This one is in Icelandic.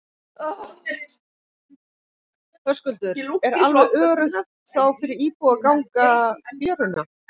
Höskuldur: Er alveg öruggt þá fyrir íbúa að ganga fjöruna?